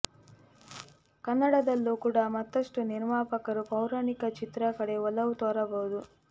ಕನ್ನಡದಲ್ಲೂ ಕೂಡ ಮತ್ತಷ್ಟು ನಿರ್ಮಾಪಕರು ಪೌರಾಣಿಕ ಚಿತ್ರ ಕಡೆ ಒಲವು ತೋರಬಹುದು